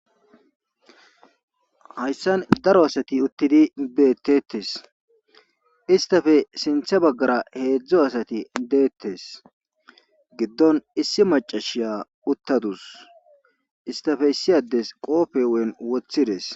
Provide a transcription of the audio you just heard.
Hayssan daro asati uttidi beettetes istafe sinthe baggara heedzdzo asati deettes giddon issi macashiya uttadus istafe siyades qoofe ween wothides.